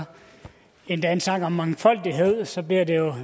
endda en sang om mangfoldighed så bliver det